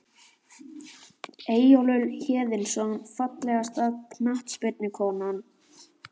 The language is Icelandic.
Eyjólfur Héðinsson Fallegasta knattspyrnukonan?